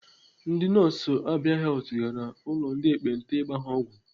Ndị nọọsụ Abia Health gara ụlọ ndị ekpenta ịgba ha ọgwụ.